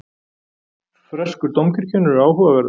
Freskur dómkirkjunnar eru áhugaverðar.